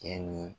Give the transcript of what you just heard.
Cɛ ni